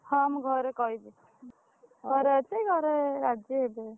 ହଁ ମୁଁ ଘରେ କହିବି। ଘରେ ଅଛି ଘରେ ରାଜି ହେବେ।